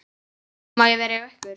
Má ég vera hjá ykkur?